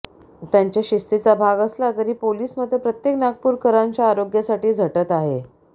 त्यांच्या शिस्तीचा भाग असला तरी पोलिस मात्र प्रत्येक नागपूरकरांच्या आरोग्यासाठी झटत आहे